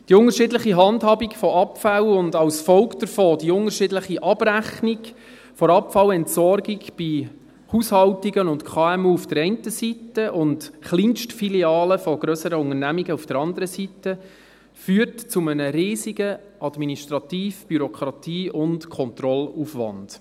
Die unterschiedliche Handhabung von Abfällen und als Folge davon die unterschiedliche Abrechnung der Abfallentsorgung bei Haushaltungen und KMU auf der einen Seite und Kleinstfilialen von grösseren Unternehmungen auf der anderen Seite führt zu einem riesigen Administrativ-, Bürokratie- und Kontrollaufwand.